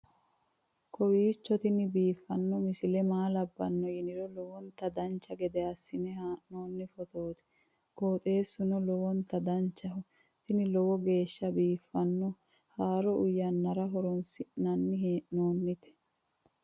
kowiicho tini biiffanno misile maa labbanno yiniro lowonta dancha gede assine haa'noonni foototi qoxeessuno lowonta danachaho. tini lowo geeshsha biiffanno haaro uyannara horoonsi'nanni hee'noonite